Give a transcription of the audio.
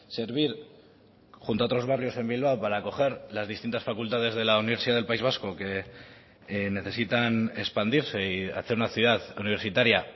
servir junto a otros barrios en bilbao para acoger las distintas facultades de la universidad del país vasco que necesitan expandirse y hacer una ciudad universitaria